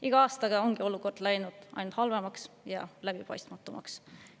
Iga aastaga on olukord läinud ainult halvemaks ja läbipaistmatumaks.